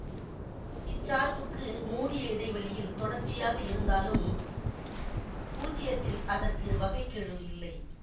இச்சார்புக்கு மூடிய இடைவெளியில் தொடர்ச்சியாக இருந்தாலும் பூஜ்யத்தில் அதற்கு வகை கெழு இல்லை